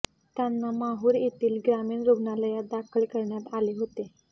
त्यांना माहुर येथील ग्रामीण रुग्णालयात दाखल करण्यात आले होते